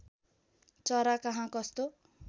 चरा कहाँ कस्तो